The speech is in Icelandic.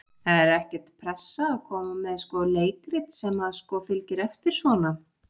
Er ekkert pressa að koma með sko leikrit sem að sko fylgir eftir svona?